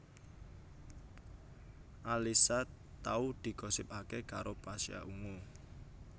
Alyssa tau digosipaké karo Pasha Ungu